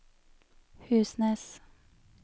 Husnes